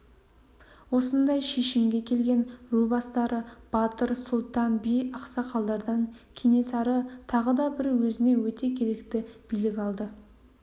осындай шешімге келген ру бастары батыр сұлтан би ақсақалдардан кенесары тағы да бір өзіне өте керекті билік алды